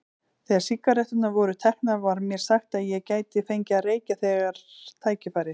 Þegar sígaretturnar voru teknar var mér sagt að ég gæti fengið að reykja þegar tækifæri